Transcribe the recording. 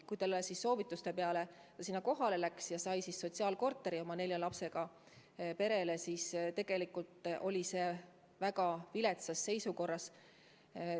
Kui ta soovituste peale sinna kohale läks, sai ta sotsiaalkorteri oma nelja lapsega perele, aga tegelikult oli see väga viletsas seisukorras.